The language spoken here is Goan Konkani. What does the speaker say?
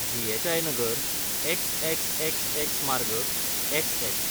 जी.एच.आय. नगर, एक्स एक्स एक्स एक्स मार्ग, एक्स एक्स.